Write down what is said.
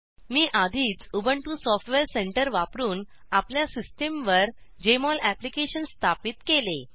मी आधीच Ubuntu software centre वापरून आपल्या सिस्टमवर जेएमओल अप्लिकेशन स्थापित केले